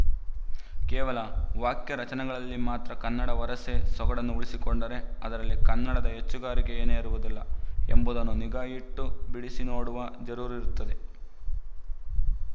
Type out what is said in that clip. ಕೇವಲ ವಾಕ್ಯ ರಚನೆಗಳಲ್ಲಿ ಮಾತ್ರ ಕನ್ನಡ ವರಸೆ ಸೊಗಡನ್ನು ಉಳಿಸಿಕೊಂಡರೆ ಅದರಲ್ಲಿ ಕನ್ನಡದ ಹೆಚ್ಚುಗಾರಿಕೆ ಏನಿರುವುದಿಲ್ಲ ಎಂಬುದನ್ನು ನಿಗಾಯಿಟ್ಟು ಬಿಡಿಸಿ ನೋಡುವ ಜರೂರಿರುತ್ತದೆ